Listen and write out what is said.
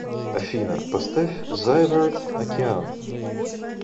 афина поставь зайверт океан